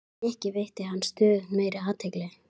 Eða er miðað við stöðu fótanna eða einhvers annars?